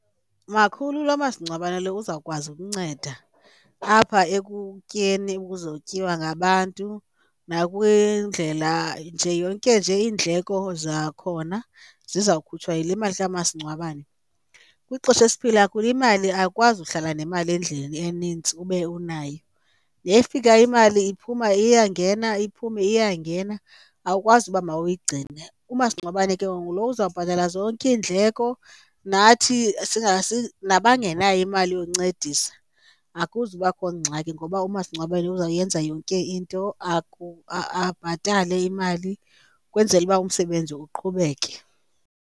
Makhulu, lo masingcwabane lo uzawukwazi ukunceda apha ekutyeni okuzotyiwa ngabantu nakwindlela nje yonke nje iindleko zakhona ziza kukhutshwa yile mali kamasingcwabane. Kwixesha esiphila kulo imali awukwazi uhlala nemali endlini eninzi ube unayo, nefikayo imali iphuma iyangena iphume iyangena, awukwazi uba mawuyigcine. Umasingcwabane ke ngoku ngulo uzawubhatala zonke iindleko, nathi nabangenayo imali yoncedisa akuzubakho ngxaki ngoba umasingcwabane uzawuyenza yonke into, abhatale imali ukwenzela uba umsebenzi uqhubeke.